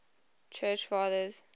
church fathers